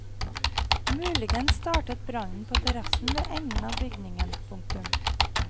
Muligens startet brannen på terrassen ved enden av bygningen. punktum